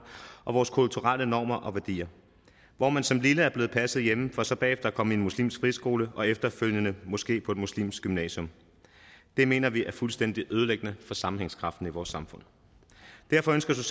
og vores kulturelle normer og værdier hvor man som lille er blevet passet hjemme for så bagefter at komme i en muslimsk friskole og efterfølgende måske på et muslimsk gymnasium det mener vi er fuldstændig ødelæggende for sammenhængskraften i vores samfund derfor ønsker